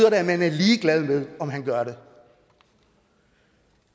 at man er ligeglad med om han gør det